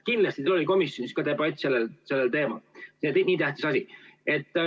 Kindlasti oli teil komisjonis debatt ka sellel teemal, see on nii tähtis asi.